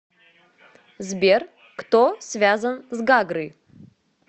сбер кто связан с гагры